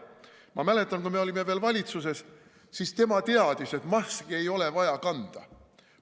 Ma mäletan, kui me olime veel valitsuses, siis tema teadis, et maske ei ole vaja kanda.